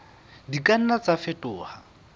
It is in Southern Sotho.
di ka nna tsa fetoha